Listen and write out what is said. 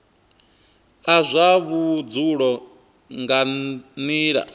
a zwa vhudzulo nga nila